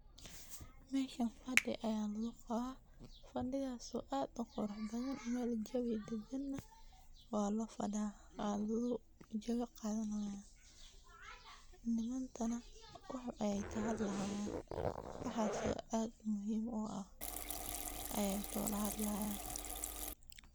Meeshan fadi ayaa lagu qabaa, fadigaas oo aad uqurux badan, meel jawi dagan ayaa lafadaa, waa lagu jawi qaadanaaya, maantana wax ayeey kahadlayaan, waxaas oo aad muhiim u ah ayeey kawada hadlaaya.